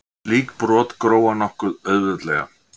Slík brot gróa nokkuð auðveldlega.